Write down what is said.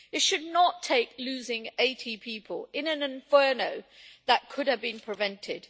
It should not take losing 80 people in an inferno that could have been prevented.